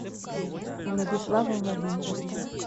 владислава владимировича